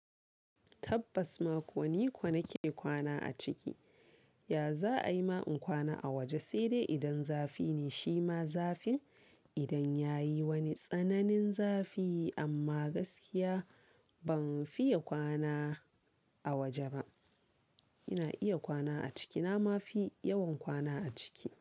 Tabbas ma, ko ni ko na ke kwana a ciki. Ya za'a yi ma in kwana a waje? Sai dai idan zafi ne shi ma zafin idan ya yi wani tsananin zafi amma gaskiya ban fiye kwana a waje ba. Ina iya kwana a ciki, na ma fi yawan kwana a ciki.